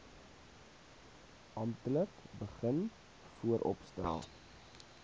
amptelik begin vooropstel